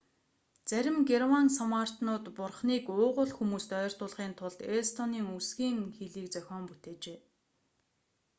зарим герман санваартнууд бурхныг уугуул хүмүүст ойртуулахын тулд эстонийн үсгийн хэлийг зохион бүтээжээ